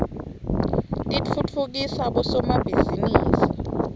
titfutfukisa bosomabhizinisi